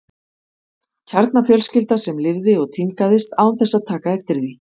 Kjarnafjölskylda sem lifði og tímgaðist án þess að taka eftir því.